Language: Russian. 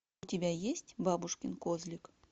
у тебя есть бабушкин козлик